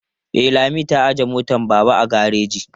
E, Lami ta ajiye motar Baba a gareji.